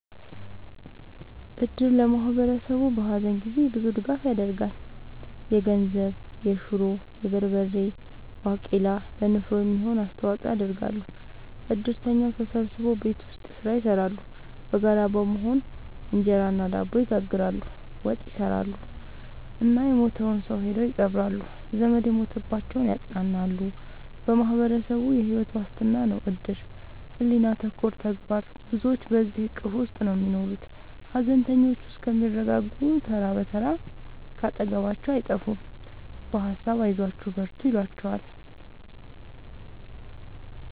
እድር ለማህበረሰቡ በሀዘን ጊዜ ብዙ ድጋፍ ይደረጋል። የገንዘብ፣ የሹሮ፣ የበርበሬ ባቄላ ለንፍሮ የሚሆን አስተዋጽኦ ያደርጋሉ። እድርተኛው ተሰብስቦ ቤት ውስጥ ስራ ይሰራሉ በጋራ በመሆን እንጀራ እና ድብ ይጋግራሉ፣ ወጥ ይሰራሉ እና የሞተውን ሰው ሄደው ይቀብራሉ። ዘመድ የሞተባቸውን ያፅናናሉ በማህበረሰቡ የሕይወት ዋስትና ነው እድር ሕሊና ተኮር ተግባር ብዙዎች በዚሕ እቅፍ ውስጥ ነው የሚኖሩት ሀዘነተኞቹ እስከሚረጋጉ ተራ ብትር ካጠገባቸው አይጠፍም በሀሳብ አይዟችሁ በርቱ ይሏቸዋል።